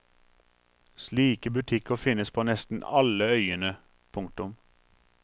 Slike butikker finnes på nesten alle øyene. punktum